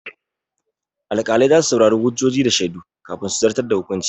Alƙalai za su saurari hujjoji da shaidu kafin su zartar da hukunci.